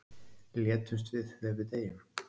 Létumst við þegar við deyjum?